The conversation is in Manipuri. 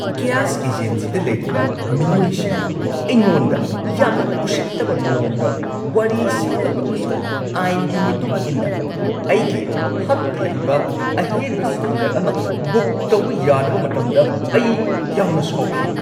ꯒ꯭ꯌꯥꯁ ꯑꯦꯖꯦꯟꯁꯤꯗ ꯂꯩꯔꯤꯕ ꯃꯤꯑꯣꯏꯁꯤꯡꯅ ꯑꯩꯉꯣꯟꯗ ꯌꯥꯝꯅ ꯎꯁꯤꯠꯇꯕ ꯃꯑꯣꯡꯗ ꯋꯥꯔꯤ ꯁꯥꯈꯤꯕ ꯑꯃꯁꯨꯡ ꯑꯥꯏꯟꯒꯤ ꯃꯇꯨꯡ ꯏꯟꯅ ꯑꯩꯒꯤ ꯍꯛ ꯂꯩꯕ ꯑꯍꯦꯟꯕ ꯁꯤꯂꯤꯟꯗꯔ ꯑꯃ ꯕꯨꯛ ꯇꯧꯕ ꯌꯥꯗꯕ ꯃꯇꯝꯗ ꯑꯩ ꯌꯥꯝꯅ ꯁꯥꯎꯈꯤ ꯫